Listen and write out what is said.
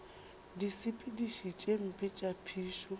disepediši tše mpe tša phišo